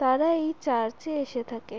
তারা এই চার্চ -এ এসে থাকে।